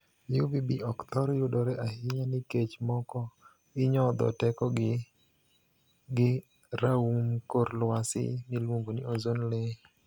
'UVB' ok thor yudore ahinya nikech moko inyodho tekogi gi raum kor lwasi miluongo ni 'ozone layer'.